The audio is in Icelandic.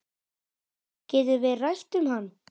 Getum við rætt um hann?